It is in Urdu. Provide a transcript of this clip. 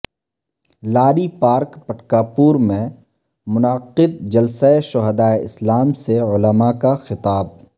لاری پارک پٹکاپور میں منعقد جلسہ شہدائے اسلام سے علماء کا خطاب